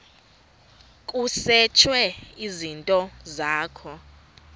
kusetshwe izinto zakho